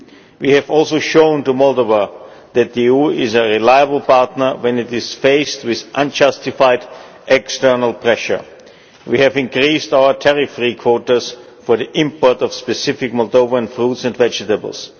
We have also shown to Moldova that the EU is a reliable partner when it is faced with unjustified external pressure. We have increased our tariff free quotas for the import of specific Moldovan foods and vegetables.